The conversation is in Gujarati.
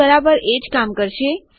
તે બરાબર એજ કામ કરશે